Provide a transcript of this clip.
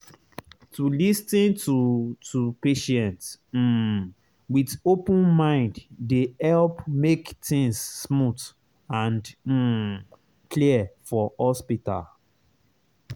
to lis ten to to patient um with open mind dey help make things smooth and um clear for hospital.